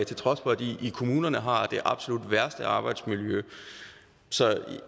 til trods for at de i kommunerne har det absolut værste arbejdsmiljø så